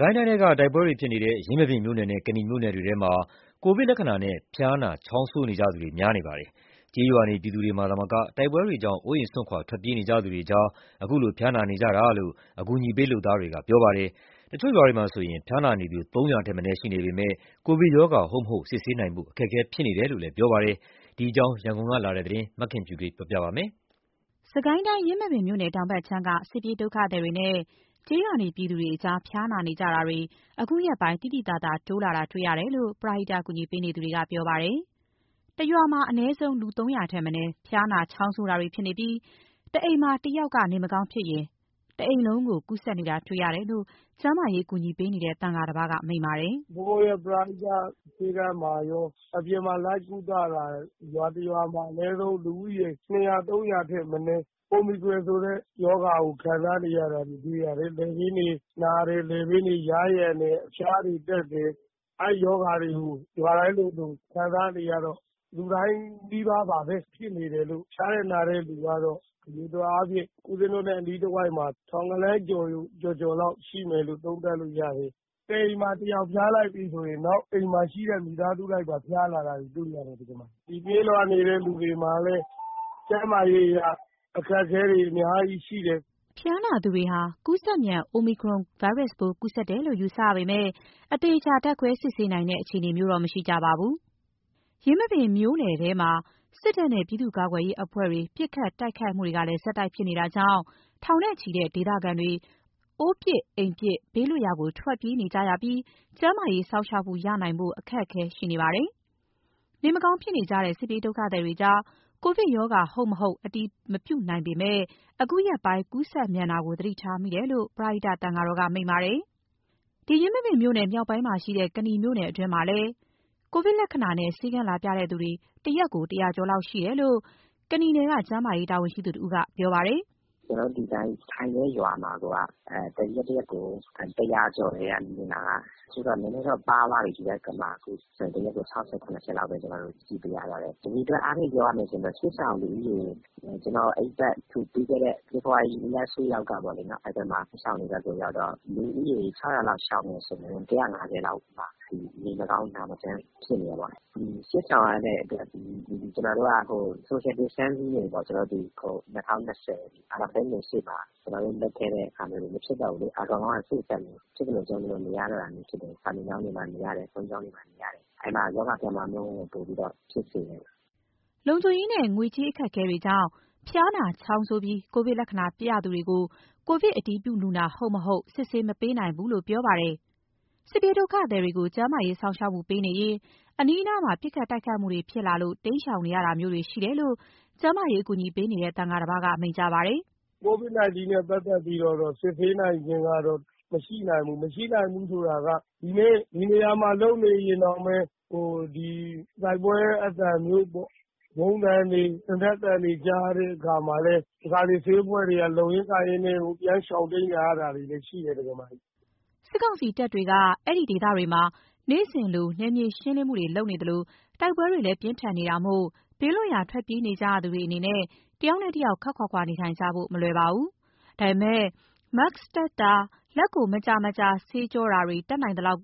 ကိုင်းတိုင်းထဲက တိုက်ပွဲတွေဖြစ်နေတဲ့ ယင်းမာပင်မြို့နယ်နဲ့ ကနီမြို့နယ်တွေထဲမှာ ကိုဗစ်လက္ခဏာ ဖျားနာ၊ ချောင်းဆိုးနေကြသူတွေ များနေပါတယ်။ ကျေးရွာနေ ပြည်သူတွေမှာသာမက တိုက်ပွဲတွေကြောင့် အိုးအိမ်စွန့်ခွာ ထွက်ပြေးနေကြသူတွေကြားမှာ ခုလို ဖျားနာနေကြတာပါ။ တချို့ရွာမှာ ဖျားနာနေသူ ၃၀၀ ထက်မနည်း ရှိနေပေမယ့် ကိုဗစ်ရောဂါ ဟုတ် မဟုတ် စစ်ဆေးနိုင်ဖို့ အခက်အခဲဖြစ်နေတယ်လို့ ကျန်းမာရေးအကူအညီပေးသူတွေက ပြောပါတယ်။ ဒီအကြောင်း ရန်ကုန်ကလာတဲ့ သတင်းကို မခင်ဖြူထွေးက တင်ပြပေးထားပါတယ်။ ယင်းမာပင်မြို့နယ် တောင်ဘက်ခြမ်းက စစ်ပြေးဒုက္ခသည်တွေနဲ့ ကျေးရွာနေပြည် သူတွေကြား ဖျားနာနေကြသူတွေ အခုရက်ပိုင်း သိသိသာသာ မြင့်တက်လာနေတယ်လို့ ကျန်းမာရေးပရဟိတကူညီပေးနေသူတွေက ပြောပါတယ်။ တရွာမှာ အနည်းဆုံး လူ ၃၀၀ ထက်မနည်း ဖျားနာ ချောင်းဆိုးနေကြပြီး တအိမ်မှာတယောက်က နေမကောင်းဖြစ်ရင် တအိမ်လုံးကူးစက်နေတာကို တွေ့ရတယ်လို့ ကျန်းမာရေးအကူအညီပေးနေတဲ့ သံဃာတပါးက မိန့်ပါတယ်။ “ဘုန်းဘုန်းရဲ့ ပရိဟတဆေးခန်းမှာရော အပြင်မှာလိုက်ကုသတာ ရွာတရွာမှာ အနည်းဆုံး လူဦးရေ ၂၀၀၊ ၃၀၀ အထက်မနည်း အိုမီခရွန်ဆိုတဲ့ ရောဂါကို ခံစားနေရတာတွေ တွေ့ရတယ်။ လည်ပင်းတွေ နာတယ်။ လည်ပင်းတွေ ယားယံတယ်။ အဖျားတွေတက်တယ်။ အဲဒီရောဂါတွေကို ရွာတိုင်းလိုလို ခံစားနေရတော့ လူတိုင်းနီးပါးပဲဖြစ်နေတယ်လို့။ ဖျားတဲ့နာတဲ့လူတွေကတော့ အရေအတွက်အားဖြင့် ဦးဇင်းတို့နဲ့ တဝိုက်မှာ ထောင်ဂဏန်းကျော်ကျော်လောက်ရှိမယ်လို့ သုံးသပ်လို့တယ်။ တအိမ်မှာ တယောက်ဖျားလိုက်ပြီဆိုရင် အိမ်မှာရှိတဲ့ မိသားစုလိုက်ပါ ဖျားလာတာကို တွေ့ရတယ်။ ဒီပြေးလွှားနေတဲ့ လူတွေမှာလည်း ကျန်မာရေးအရအခက်အခဲတွေ အများကြီးရှိတယ်။” ဖျားနာသူတွေဟာ ကူးစက်မြန် အိုမီခရွမ်ကိုဗစ်ကူးစက်တယ်လို့ ယူဆပေမယ့် အသေအချာ ဓါတ်ခွဲစစ်ဆေးနိုင်တဲ့ အခြေအနေမျိုးတော့ မရှိကြပါဘူး။ ယင်းမာပင်မြို့နယ်ထဲမှာလည်း စစ်တပ်နဲ့ ပြည်သူ့ကာကွယ်ရေးအဖွဲ့တွေ ပစ်ခတ် တိုက်ခိုက်မှု ဆက်တိုက်ဖြစ်ပွားနေတာကြောင့် ထောင်နဲ့ ချီတဲ့ ဒေသခံတွေ အိုးပစ် အိမ်ပစ် ဘေးလွတ်ရာကို ပြေးကြနေရပြီး ကျန်းမာရေးစောင့်ရှောက်မှု ရနိုင်ဖို့ အခက်အခဲတွေ ရှိနေကြပါတယ်။ နေမကောင်းဖြစ်နေကြတဲ့ စစ်ပြေးဒုက္ခသည်တွေ ကြား ကိုဗစ်ရောဂါ ဟုတ်မဟုတ် အတည်မပြုနိုင်ပေမယ့် အခုရက်ပိုင်း ကူးစက်မြန် တာကို သတိထားမိတယ်လို့ ပရဟိတသင်္ဃာက မိန့်ပါတယ်။ ယင်းမာပင်မြို့နယ် မြောက်ပိုင်းမှာရှိတဲ့ ကနီမြို့နယ်မှာလည်း ကိုဗစ်လက္ခဏာနဲ့ ဆေးခန်းလာပြသူတွေ တရက်ကို ၁၀၀ ကျော်လောက်ရှိတယ်လို့ ကနီနယ်က ကျန်းမာရေး တာဝန်ရှိသူတဦးက ပြောပါတယ်။ “ကျနော်တို့ ဒီတိုင်း ထိုင်နေတဲ့ရွာမှာကိုက တရက်တရက်ကို ၁၀၀ ကျော်တယ် လူနာက။ အချို့တော့ နည်းနည်းတော့ပါးသွားပြီ။ ဒီနေ့ဆို ၆၀၊ ၇၀ လောက်ပဲ ကျနော်တို့ကြည့်ပေးရပါတယ်။ အရေအတွက်အားဖြင့် ပြောရမယ်ဆိုရင်တော့ ပြီးခဲ့တဲ့ ဖေဖော်ဝါရီ ဒုတိယပတ်လောက်ကပေါ့နော်။ စစ်ရှောင်တွေဘက်ရောက်တော့ လူဦးရေ ၆၀၀ လောက်ရှောင်နေဆိုရင် ၁၅၀ လောက်မှာ ဒီနေမကောင်း နာမကျန်းဖြစ်နေတာပေါ့။ စစ်ရှောင်ရတဲ့အတွက် ကျနော်တို့က social distancing တွေပေါ့။ ကျနော်တို့ ဒီ ၂၀၂၀ အာဏာမသိမ်းခင် ရှေ့မှာ ကျနော်တို့ လုပ်ခဲ့တဲ့ဟာမျိုးတွေ မဖြစ်တော့ဘူးလေ။ ဖြစ်သလို ကြုံသလိုနေရတော့တာမျိုးဖြစ်တယ်။ စာသင်ကျောင်းတွေမှာ နေရတယ်၊ ဘုန်းကြီးကျောင်းတွေမှာ နေရတယ်။ အဲ့မှာ ရောဂါပြန့်ပွားမှုနှုန်းက ပိုပြီးတော့ ဖြစ်စေတယ်။” လုံခြုံရေးနဲ့ ငွေကြေးအခက်အခဲတွေကြောင့် ဖျားနာ ချောင်းဆိုးပြီး ကိုဗစ်လက္ခာပြသူတွေကို ကိုဗစ်အတည်ပြုလူနာ ဟုတ် မဟုတ် မစစ်ဆေးပေးနိုင်ဘူးလို့ ပြောပါတယ်။ စစ်ပြေးဒုက္ခသည်တွေကို ကျန်းမာရေးစောင့်ရှောက်မှုပေးနေရင်း အနီးအနားမှာ ပစ်ခတ်တိုက်ခိုက်မှုတွေ ဖြစ်လာလို့ တိမ်းရှောင်ရတာမျိုးတွေ ရှိတယ်လို့ ကျန်းမာရေးအကူအညီပေးနေတဲ့ သံဃာတပါးက မိန့်ကြားပါတယ်။ “COVID-19 နဲ့ ပတ်သက်ပြီးတော့ စစ်ဆေးနိုင်ခြင်းကတော့ မရှိနိုင်ဘူး။ မရှိနိုင်ဘူးဆိုတာက ဒီနေ့ ဒီနေရာမှာ လုပ်နေရင်တောင်ပဲ တိုက်ပွဲအသံမျိုးပေါ့၊ ဗုံးသံတွေ သေနတ်သံတွေ ကြားရတဲ့အခါမှာလည်း တခါတလေ ဆေးအဖွဲ့တွေက လုပ်ရင်းကိုင်ရင်းနဲ့ ပြန်ရှောင်တိမ်းနေရတာတွေလည်း ရှိတယ်။” စစ်ကောင်စီတပ်တွေက အဲဒီဒေသတွေမှာ နေ့စဉ်လို နယ်မြေရှင်းလင်းမှုတွေလုပ်နေသလို တိုက်ပွဲတွေလည်း ဖြစ်နေတာမို့ ဘေးလွတ်ရာ ထွက်ပြေးနေကြရသူတွေအနေနဲ့ တယောက်နဲ့တယောက် ခပ်ခွာခွာ နေထိုင်ဖို့ မလွယ်ကြပါဘူး။ ဒါပေမယ့် Mask တပ်ဆင်တာ လက်ကို မကြာမကြာဆေးကြောတာတွေနဲ့ တတ်နိုင်သလောက်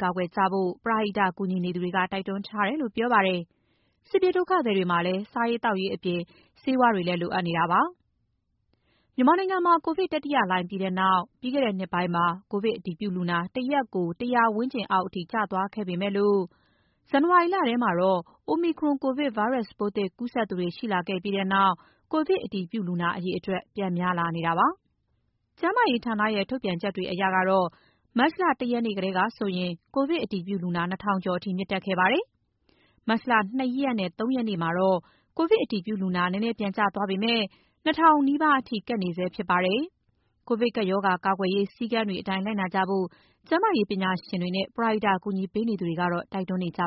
ကာကွယ်ကြဖို့ ပရဟိတကူညီနေသူတွေက တိုက်တွန်းထားတယ်လို့ ပြောပါတယ်။ စစ်ပြေးဒုက္ခသည်တွေမှာလည်း စားရေး သောက်ရေးအပြင် ဆေးဝါးလိုအပ်မှုတွေ ဖြစ်နေပါတယ်။ မြန်မာနိုင်ငံမှာ ကိုဗစ်တတိယလှိုင်းပြီးနောက်ပိုင်း ပြီးခဲ့တဲ့ နှစ်ကုန်ပိုင်းမှာ ကိုဗစ်အတည်ပြုလူနာ တရက်ကို ၁၀၀ ဝန်းကျင်အောက်အထိ ကျသွားခဲ့ပေမယ့် ဇန်နဝါရီလထဲမှာ Omicron ကိုဗစ်ပိုးသစ်ကူးစက်သူတွေရှိလာခဲ့ပြီးနောက်ပိုင်း ကိုဗစ်အတည်ပြုလူနာအရေအတွက် ပြန်များနေပါတယ်။ ကျန်းမာရေးဌာနရဲ့ ထုတ်ပြန်ချက်တွေအရ မတ်လ ၁ ရက်နေ့ကဆိုရင် ကိုဗစ်အတည်ပြုလူနာ ၂ ထောင်ကျော်အထိ မြင့်တက်ခဲ့ပါတယ်။ မတ်လ ၂ ရက်နဲ့ ၃ ရက်နေ့မှာတော့ ကိုဗစ်အတည်ပြုလူနာနည်းနည်း ပြန်ကျသွားပေမယ့် ၂ ထောင်နား ကပ်နေဆဲဖြစ်ပါတယ်။ ကိုဗစ်ကပ်ရော ဂါ ကာကွယ်ရေးစည်းကမ်းတွေအတိုင်းလိုက်နာကြဖို့ ကျန်းမာရေးပညာရှင်တွေ၊ ပရဟိတကူညီသူတွေက တိုက်တွန်းနေကြပါ